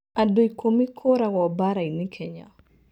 Andũ ikũmi kũragwo mbaara-inĩ Kenya